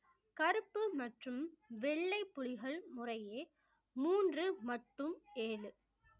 கருப்பு மற்றும் வெள்ளை புலிகள் முறையே மூன்று மற்றும் ஏழு